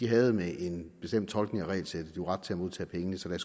havde en bestemt tolkning af regelsættet ret til at modtage pengene